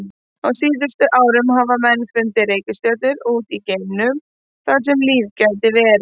Á síðustu árum hafa menn fundið reikistjörnur út í geimnum þar sem líf gæti verið.